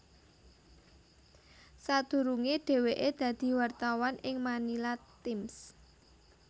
Sadurunge dheweke dadi wartawan ing Manila Times